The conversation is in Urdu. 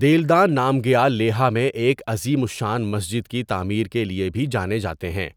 دیلدان نامگیال لیہہ میں ایک عظیم الشان مسجد کی تعمیر کے لیے بھی جانا جاتے ہیں،